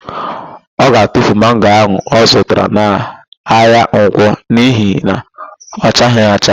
Ọ ga-atufu mango ahụ ọ zụtara n'ahịa Nkwọ n'ihi na ọ chaghị acha.